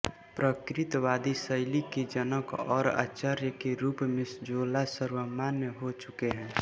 प्रकृतवादी शैली के जनक और आचार्य के रूप में जोला सर्वमान्य हो चुके हैं